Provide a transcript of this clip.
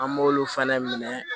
An b'olu fana minɛ